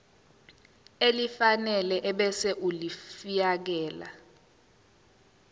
elifanele ebese ulifiakela